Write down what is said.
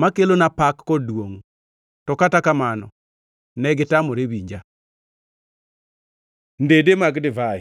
ma kelona pak kod duongʼ. To kata kamano negitamore winja.’ Ndede mag divai